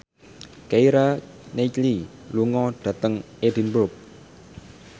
Keira Knightley lunga dhateng Edinburgh